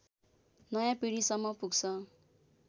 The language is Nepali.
नयाँ पिढीसम्म पुग्छ